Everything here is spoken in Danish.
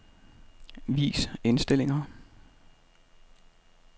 Vis indstillinger.